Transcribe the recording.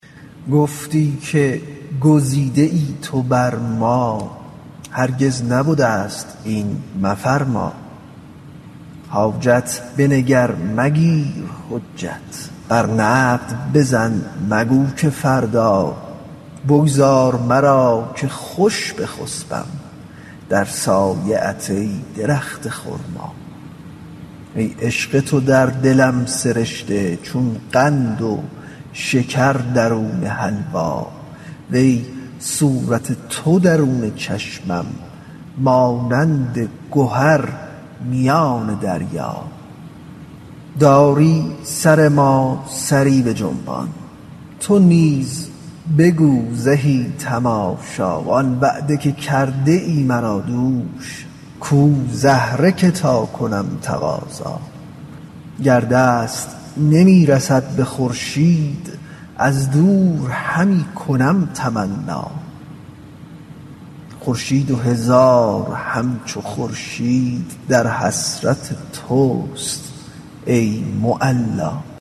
گفتی که گزیده ای تو بر ما هرگز نبدست این مفرما حاجت بنگر مگیر حجت بر نقد بزن مگو که فردا بگذار مرا که خوش بخسپم در سایه ات ای درخت خرما ای عشق تو در دلم سرشته چون قند و شکر درون حلوا وی صورت تو درون چشمم مانند گهر میان دریا داری سر ما سری بجنبان تو نیز بگو زهی تماشا آن وعده که کرده ای مرا دوش کو زهره که تا کنم تقاضا گر دست نمی رسد به خورشید از دور همی کنم تمنا خورشید و هزار همچو خورشید در حسرت تست ای معلا